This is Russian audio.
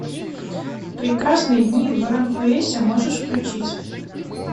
прекрасные дни в аранхуэсе можешь включить